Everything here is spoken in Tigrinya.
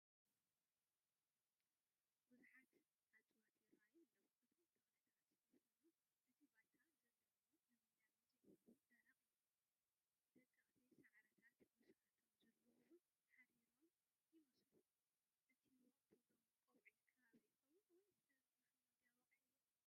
ብዙሓት እፀዋት ይራኣዩ ኣለው፡፡ እቶም ተኽልታት ይኹኑ እቲ ባይታ ዘለውዎ ልምላሜ ዘይብሉን ደረቕን እዩ፡፡ ደቀቕቲ ሳዕርታት ምስኣቶም ዘለው ውን ሓሪሮም ይመስሉ፡፡ እቲ ወቕቲ ዶ ቀውዒ ከባቢ ይኸውን ወይስ መሖሞድያ ወቒዕዎ?